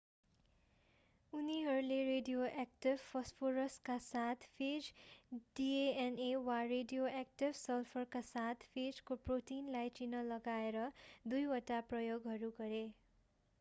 उनीहरूले रेडियोएक्टिभ फस्फोरसका साथ फेजको डिएनए वा रेडियोएक्टिभ सल्फरका साथ फेजको प्रोटिनलाई चिन्ह लगाएर दुईवटा प्रयोगहरू गरे